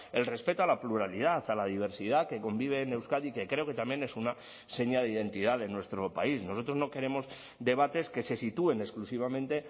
el respeto a la pluralidad a la diversidad que convive en euskadi que creo que también es una seña de identidad de nuestro país nosotros no queremos debates que se sitúen exclusivamente